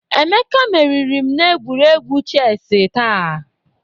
Emeka meriri m n'egwuregwu chesị taa.